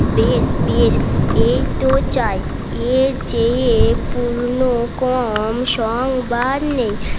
বেশ বেশ এই তো চাই এর চেয়ে পূর্ণ কম সংবার নেই